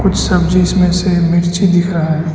सब्जीस में से मिर्ची दिख रहा है।